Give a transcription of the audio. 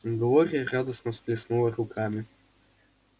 глория радостно всплеснула руками